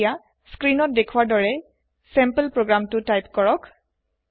এতিয়া sample program তু type কৰক স্ক্ৰীনত দেখুৱাৰ দৰে